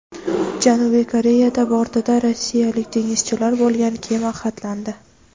Janubiy Koreyada bortida rossiyalik dengizchilar bo‘lgan kema xatlandi.